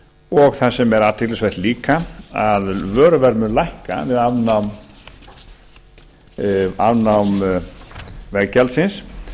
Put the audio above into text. og það sem er athyglisvert líka að vöruverð mun lækka við afnám veggjaldsins